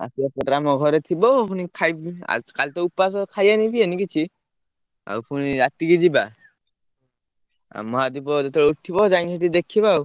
ଆସିଲେ program ଘରେ ଥିବ ପୁଣି ଖାଇ କାଲିତ ଉପବାସ ଖାଇବାନି ପିଇବାନି କିଛି, ଆଉ ପୁଣି ରାତିକି ଯିବା ଆଉ ମହାଦୀପ ଯେତେବେଳେ ଉଠିବ ଯାଇକି ସେଠି ଦେଖିବ ଆଉ।